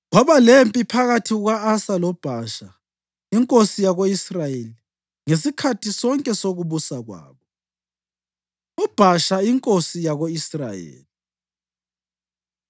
Kwaba lempi phakathi kuka-Asa loBhasha inkosi yako-Israyeli ngesikhathi sonke sokubusa kwabo. UBhasha Inkosi Yako-Israyeli